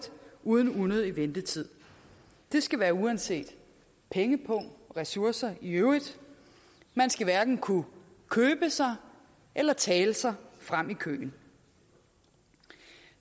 uden unødig ventetid det skal være uanset pengepung og ressourcer i øvrigt man skal hverken kunne købe sig eller tale sig frem i køen